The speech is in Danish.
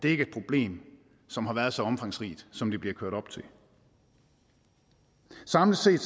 er et problem som har været så omfangsrigt som det bliver kørt op til samlet set